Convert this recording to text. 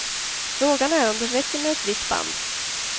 Frågan är om det räcker med ett vitt band.